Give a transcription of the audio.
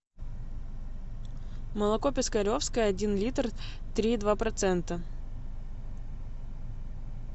молоко пискаревское один литр три и два процента